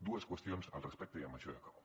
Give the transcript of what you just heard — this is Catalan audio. dues qüestions al respecte i amb això ja acabo